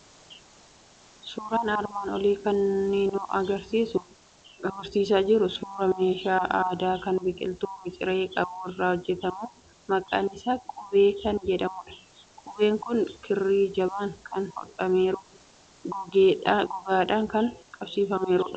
Suuraan armaan olii kun kan inni nutti argisiisaa jiru, suuraa meeshaa aadaa kan biqiltuu miciree qabu irraa hojjetamu, maqaan isaa qabee kan jedhamudha. Qabeen kun kirri jabaan kan hodhameeru, gogaadhaan kan qabsiifameerudha.